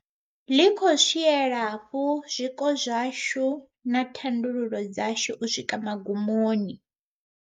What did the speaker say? Ḽi khou swiela fhu zwiko zwashu na thandululo dzashu u swika magumoni.